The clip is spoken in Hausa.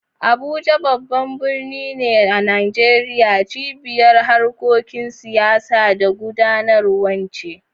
Abuja, babban birnin Najeriya, cibiyar harkokin siyasa da gudanarwa ce.